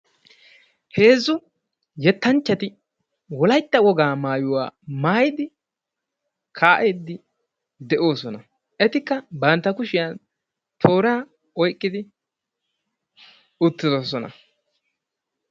Heezzu yettanchchati wolaytta wogaa maayuwa maayidi kaa'iiddi de'oosona. Etikka bantta kushiyan tooraa oyqqidi uttidosona.